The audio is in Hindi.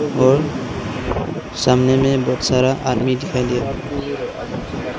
और सामने में बहुत सारा आदमी दिखाई दे रहा।